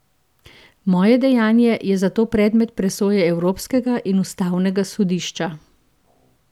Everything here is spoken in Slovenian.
Moje dejanje je zato predmet presoje Evropskega in ustavnega sodišča.